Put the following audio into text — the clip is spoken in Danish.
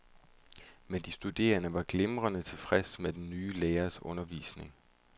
Men de studerende var glimrende tilfreds med den nye lærers undervisning.